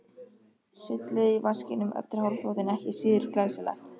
Sullið í vaskinum eftir hárþvottinn ekki síður glæsilegt.